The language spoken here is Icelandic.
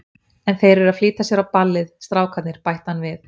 En þeir eru að flýta sér á ballið, strákarnir, bætti hann við.